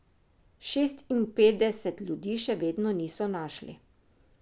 Šestinpetdeset ljudi še vedno niso našli.